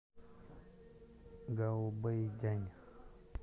гаобэйдянь